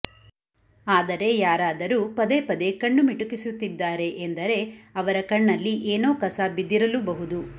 ಆದರೆ ಯಾರಾದರೂ ಪದೇ ಪದೇ ಕಣ್ಣು ಮಿಟುಕಿಸುತ್ತಿದ್ದಾರೆ ಎಂದರೆ ಅವರ ಕಣ್ಣಲ್ಲಿ ಏನೋ ಕಸ ಬಿದ್ದಿರಲೂಬಹುದು